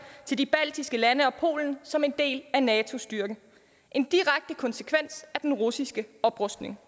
til de baltiske lande og polen som en del af nato styrken en direkte konsekvens af den russiske oprustning